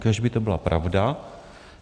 Kéž by to byla pravda.